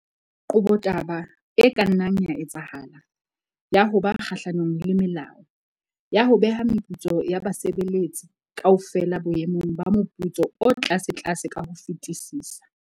Qoba taba e ka nnang ya etsahala, ya ho ba kgahlanong le molao, ya ho beha meputso ya basebeletso kaofela boemong ba moputso o tlasetlase ka ho fetisisa.